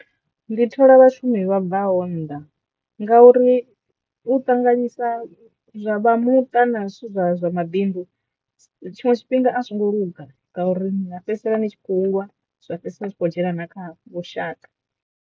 Ndi thola vhashumi vha bva ho nnḓa ngauri u ṱanganyisa vha muṱa na zwithu zwa zwa mabindu tshiṅwe tshifhinga a zwo ngo luga ngauri na fhedzisela ni tshi kho u lwa zwa fhedzisela zwi kho dzhena na kha vhushaka.